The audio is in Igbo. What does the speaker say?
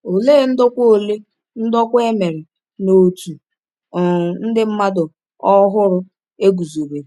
Olee ndokwa Olee ndokwa e mere n’òtù um ndị mmadụ ọhụrụ e guzobere?